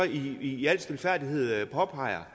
i al stilfærdighed påpeger